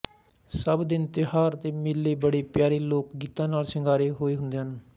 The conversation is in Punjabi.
ਸਭ ਦਿਨ ਤਿਉਹਾਰ ਤੇ ਮੇਲੇ ਬੜੇ ਪਿਆਰੇ ਲੋਕ ਗੀਤਾਂ ਨਾਲ ਸਿੰਗਾਰੇ ਹੋਏ ਹੁੰਦੇ ਹਨ